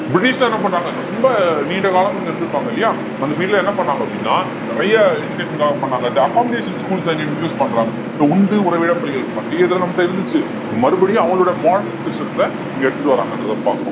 British தான் என்ன பண்றாங்க ரொம்ப நீண்ட காலமா இங்க இருந்திருப்பாங்க இல்லையா அந்த period ல என்ன பண்ணாங்க அப்படின்னா நிறைய education க்காக பண்ணாங்க the accommodation schools அ இங்க introduce பண்றாங்க இப்ப உண்டு உறைவிடப் பள்ளிகள் அப்பயே இதெல்லாம் நம்மட்ட இருந்துச்சு மறுபடியும் அவங்களோட modern system த்துல இங்க எடுத்துட்டு வராங்கன்றத பாக்குறோம்